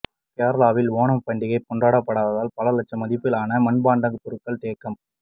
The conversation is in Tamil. கேரளாவில் ஓணம் பண்டிகை கொண்டாடப்படாததால் பல லட்சம் மதிப்பிலான மண்பாண்ட பொருட்கள் தேக்கம்